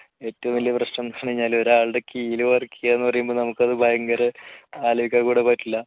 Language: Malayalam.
ഏറ്റവും വലിയ പ്രശ്നം എന്താന്ന് പറഞ്ഞാല് ഒരാളുടെ കീഴിൽ വർക്ക് ചെയ്യുക എന്ന് പറയുന്നത് നമുക്ക് അത് ഭയങ്കര ആലോചിക്കാൻ കൂടി പറ്റില്ല